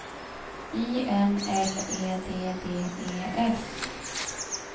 I N L E D D E S